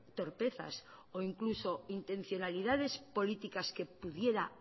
torpezas o incluso intencionalidades políticas que pudiera